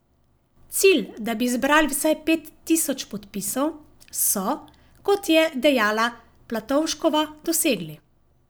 Cilj, da bi zbrali vsaj pet tisoč podpisov, so, kot je dejala Platovškova, dosegli.